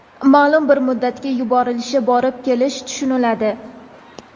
maʼlum bir muddatga yuborilishi (borib kelish) tushuniladi.